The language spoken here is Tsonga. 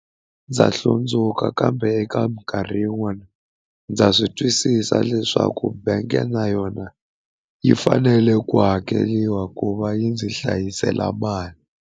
Ndza hlundzuka kambe eka minkarhi yin'wani ndza swi twisisa leswaku bank na yona yi fanele ku hakeriwa ku va yi ndzi hlayisela mali.